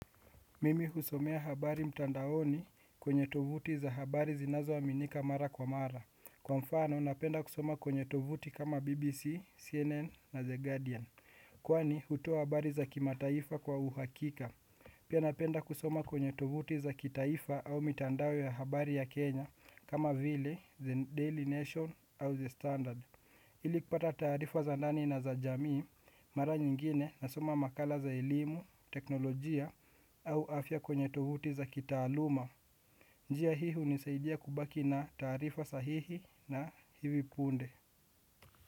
Mimi husomea habari mtandaoni kwenye tovuti za habari zinazoaminika mara kwa mara. Kwa mfano napenda kusoma kwenye tovuti kama BBC, CNN na The Guardian. Kwani hutoa habari za kimataifa kwa uhakika. Pia napenda kusoma kwenye tovuti za kitaifa au mitandao ya habari ya Kenya kama vile, The Daily Nation au The Standard. Ili kupata taarifa za nani na za jamii mara nyingine nasoma makala za elimu, teknolojia au afya kwenye tovuti za kitaaluma. Njia hii hunisaidia kubaki na taarifa sahihi na hivi punde.